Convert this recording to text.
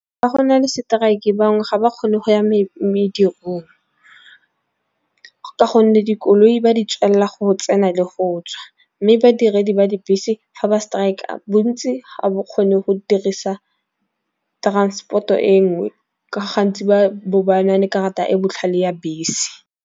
Ga go na le strike e bangwe ga ba kgone go ya medicine, ka gonne dikoloi ba di tswelela go tsena le go tswa. Mme badiredi ba dibese fa ba strike-a bontsi ga bo kgone go dirisa transport-o e nngwe, gantsi ba bo ba na le karata e botlhale ya bese.